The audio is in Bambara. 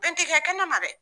Bɛn ti gɛ kɛnɛma dɛ